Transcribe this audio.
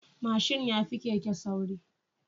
Mashin yafi Keke sauri